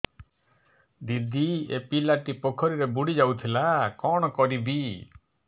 ଦିଦି ଏ ପିଲାଟି ପୋଖରୀରେ ବୁଡ଼ି ଯାଉଥିଲା କଣ କରିବି